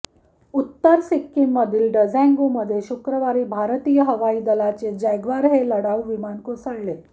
उत्तर सिक्कीममधील डझॉंगुमध्ये शुक्रवारी भारतीय हवाई दलाचे जॅगवार हे लढाऊ विमान कोसळले